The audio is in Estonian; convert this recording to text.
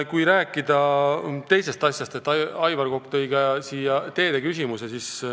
Kui rääkida ühest teisest asjast, siis Aivar Kokk tõi siia ka teede küsimuse.